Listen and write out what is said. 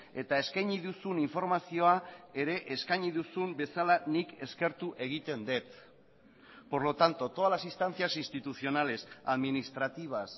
eta eskaini duzun informazioa ere eskaini duzun bezala nik eskertu egiten dut por lo tanto todas las instancias institucionales administrativas